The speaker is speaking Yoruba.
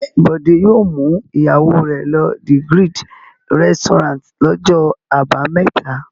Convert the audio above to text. Ǹjẹ́ Bọ̀dé yóò mú ìyàwó rẹ̀ lọ The Grid restaurant lọ́jọ́ àbámẹ́ta?